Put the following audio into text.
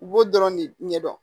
U b'o dɔrɔn de ɲɛdɔn